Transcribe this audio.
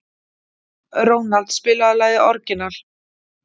Ronald, spilaðu lagið „Orginal“.